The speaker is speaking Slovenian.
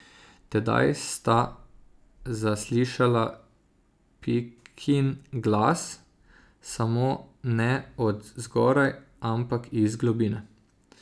Tedaj sta zaslišala Pikin glas, samo ne od zgoraj, ampak iz globine.